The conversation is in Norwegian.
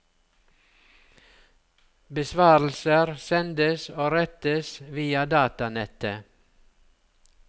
Besvarelser sendes og rettes via datanettet.